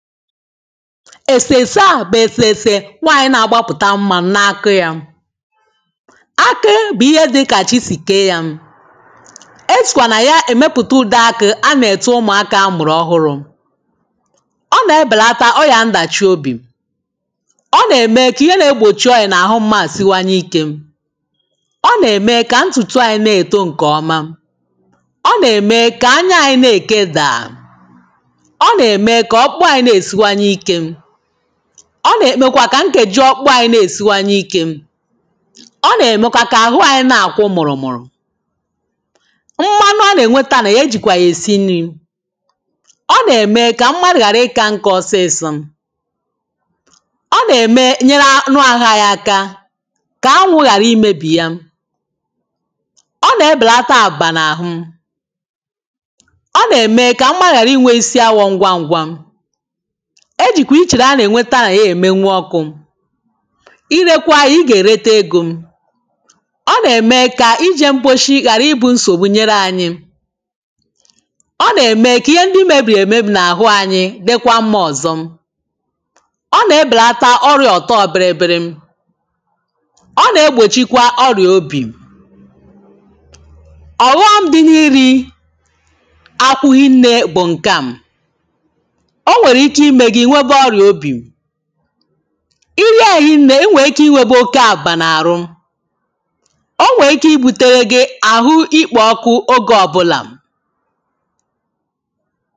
èsèsaa tèsèsè nwanyì na-agbapụ̀ta mmanụ̄ n’aka ya akị bụ̀ ihe dị kà chi sì kèe ya esìkwà nà ya èmepụ̀ta ùde akị̄ a nà-ète ụmụ̀aka a mụ̀rụ̀ ọhụrụ̄ ọ nà-ème kà ihe n’egbòchi ọyà n’àhụ mmadụ̀ siwanyē ikē ọ nà-ème kà ntùtù anyī nà-èto ǹkè ọma ọ nà-ème kà anya anyì nà-èke dàà ọ nà-ème kà ọ̀kpụ anyi na-èsiwanye ikē ọ nà-ème kwa kà nkeji ọkpụ anyi na-èsiwanye ike ọ nà-ème kwa kà àrụ anyi na-àkwụ mụ̀rụ̀ mmalụ a n’ènweta nà ya e jì kwà yà èsi nrī ọ nà-ème kà mmadụ̀ ghàra ikā nka ọsịsọ̄ ọ nà-ème nyeri anụ arụ̄ aka kà anwụ̄ ghàra imebì ya ọ na-ebèlata àpà n’àhụ ọ nà-ème kà mmadụ̀ ghàra inwē isi awọ̄ ngwa ngwā e jìkwà ichèrè a nà-ènweta nà ya èmeyu ọkwụ̄ irekwa yā ị gà-èrete egō ọ nà-ème kà ijē m̀kposi ghàra ibụ̄ nsògbu nyere ànyi ọ nà-ème kà ihe ndi mebìrì èmebì n’àhụ anyi dikwa mmā ọ̀zọ ọ nà-ebèlata ọrìà ọ̀tọ birimbirim ọ nà-egbòchịkwā ọrị̀à obì ọ̀wọm dị nà-ịrị̄ akpụ rinnē bụ̀ ǹkāā onwèrè ike ime gi ị̀ nwebe ọrìà obì ị rie ya rinne i nwèrè ike inwebē oke àpà n’àrụ o nwèrè ike ịbuterē gị àhụ ikpò ọkụ ogè ọ̀bụlā